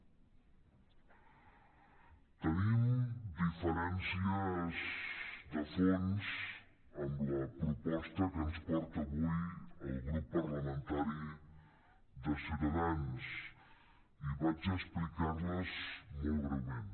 tenim diferències de fons amb la proposta que ens porta avui el grup parlamentari de ciutadans i vaig a explicar les molt breument